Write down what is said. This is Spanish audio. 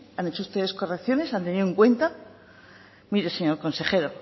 han hecho ustedes correcciones han tenido en cuenta mire señor consejero